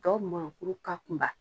Tɔw mɔn kuru ka kunba.